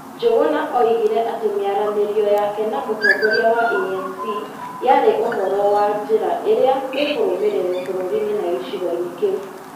Njũguna oigire atĩ mĩaranĩrio yake na mũtongoria wa ANC yarĩ ũhoro wa njĩra ĩrĩa ĩkũrũmĩrĩrwo bũrũriinĩ na gĩcigoinĩ kĩu.